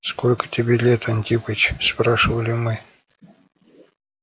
сколько тебе лет антипыч спрашивали мы